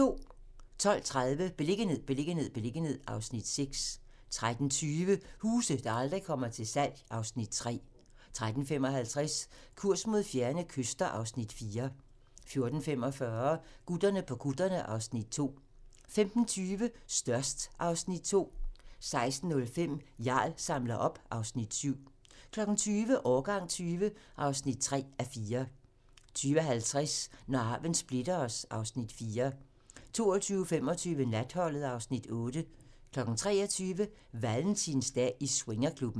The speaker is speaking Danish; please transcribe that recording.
12:30: Beliggenhed, beliggenhed, beliggenhed (Afs. 6) 13:20: Huse, der aldrig kommer til salg (Afs. 3) 13:55: Kurs mod fjerne kyster (Afs. 4) 14:45: Gutterne på kutterne (Afs. 2) 15:20: Størst (Afs. 2) 16:05: Jarl samler op (Afs. 7) 20:00: Årgang 20 (3:4) 20:50: Når arven splitter os (Afs. 4) 22:25: Natholdet (Afs. 8) 23:00: Valentinsdag i swingerklubben